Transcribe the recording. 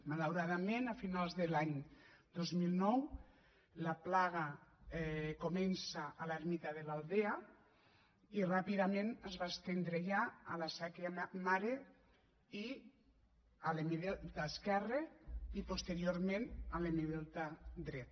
malauradament a finals de l’any dos mil nou la plaga comença a l’ermita de l’aldea i ràpidament es va estendre ja a la sèquia mare i a l’hemidelta esquerre i posteriorment a l’hemidelta dret